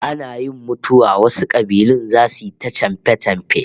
Ana yin mutuwa wasu kabilun zasu yi ta chamfe-chamfe